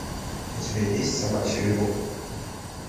у тебя есть собачья любовь